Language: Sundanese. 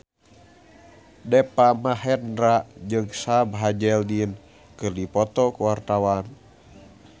Deva Mahendra jeung Sam Hazeldine keur dipoto ku wartawan